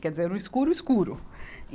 Quer dizer, era um escuro escuro.